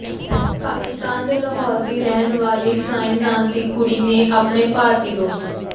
ਪਾਕਿਸਤਾਨ ਦੇ ਲਾਹੌਰ ਦੀ ਰਹਿਣ ਵਾਲੀ ਸਈਨ ਨਾਮ ਦੀ ਕੁੜੀ ਨੇ ਆਪਣੇ ਭਾਰਤੀ ਦੋਸਤ